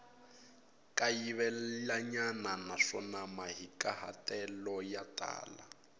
kayivelanyana naswona mahikahatelo ya tala